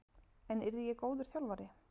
En yrði ég góður þjálfari?